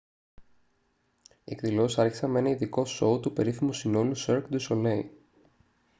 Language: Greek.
οι εκδηλώσεις άρχισαν με ένα ειδικό σόου του περίφημου συνόλου cirque du soleil